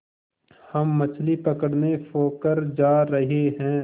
हम मछली पकड़ने पोखर जा रहें हैं